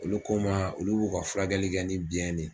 Olu ko n ma olu b'u ka furakɛli kɛ ni biyɛn ne